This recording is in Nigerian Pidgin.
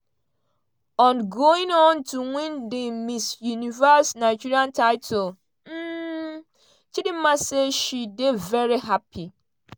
on going on to win di miss universe nigeria title um chidimma say she dey veri hapy.